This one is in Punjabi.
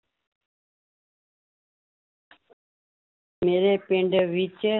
ਮੇਰੇ ਪਿੰਡ ਵਿੱਚ